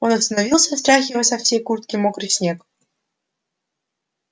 он остановился стряхивая со всей куртки мокрый снег